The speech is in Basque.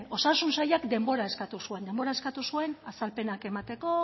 osasun sailak denbora eskatu zuen denbora eskatu zuen azalpenak emateko